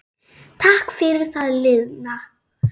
Takk fyrir það liðna.